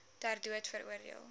ter dood veroordeel